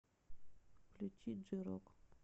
включи джей рок